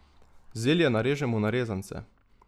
Zelje narežemo na rezance.